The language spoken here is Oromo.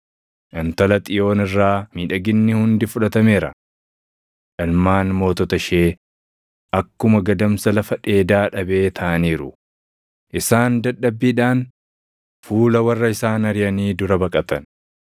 Intala Xiyoon irraa miidhaginni hundi fudhatameera. Ilmaan mootota ishee akkuma gadamsa lafa dheedaa dhabee taʼaniiru; isaan dadhabbiidhaan fuula warra isaan ariʼanii dura baqatan.